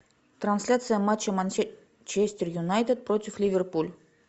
трансляция матча манчестер юнайтед против ливерпуль